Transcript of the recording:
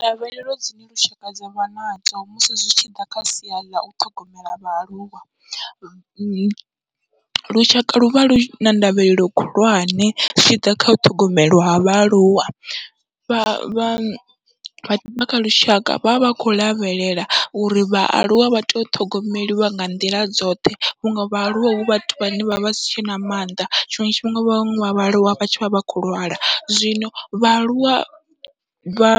Ndavhelelo dzine lushaka dzavha nadzo musi zwi tshiḓa kha sia ḽau ṱhogomela vhaaluwa, lushaka luvha luna ndavhelelo khulwane zwi tshiḓa kha u ṱhogomelwa vhaaluwa, vha vha vha lushaka vha vha vha khou lavhelela uri vhaaluwa vha tea u ṱhogomeliwa nga nḓila dzoṱhe vhunga vhaaluwa hu vhathu vhane vha vhasi tshena mannḓa, tshiṅwe tshifhinga vhaṅwe vha vhaaluwa vha vha vhatshi khou lwala. Zwino vhaaluwa vha